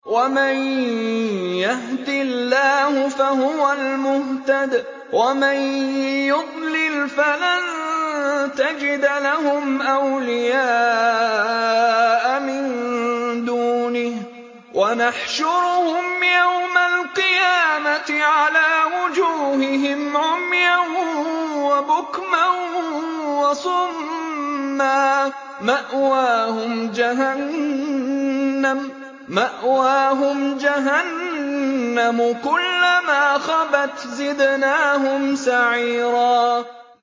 وَمَن يَهْدِ اللَّهُ فَهُوَ الْمُهْتَدِ ۖ وَمَن يُضْلِلْ فَلَن تَجِدَ لَهُمْ أَوْلِيَاءَ مِن دُونِهِ ۖ وَنَحْشُرُهُمْ يَوْمَ الْقِيَامَةِ عَلَىٰ وُجُوهِهِمْ عُمْيًا وَبُكْمًا وَصُمًّا ۖ مَّأْوَاهُمْ جَهَنَّمُ ۖ كُلَّمَا خَبَتْ زِدْنَاهُمْ سَعِيرًا